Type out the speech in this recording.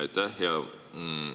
Aitäh!